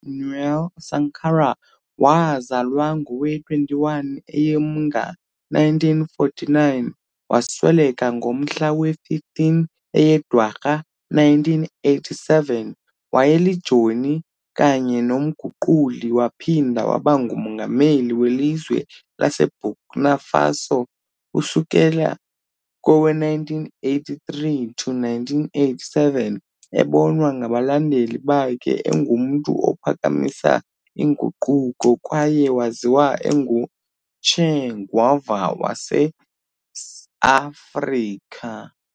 Noël Sankara wazalwa ngowe 21 eye-Mnga 1949 wasweleka ngomhla we 15 eye-Dwarha 1987 wayeli joni kanye nomguquli waphinda wabangu mongameli welizwe lase Burkina Faso usukela kowe 1983 - 1987, ebonwa ngabalandeli bakhe engumntu ophakamisa inguquko, kwaye waziwa engu Che Guevara wase Africa